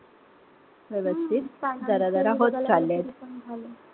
व्यवस्थित. जरा-जरा होत चाललंय.